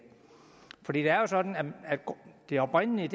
for det er jo sådan at det oprindelige